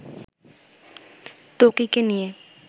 ত্বকীকে নিয়ে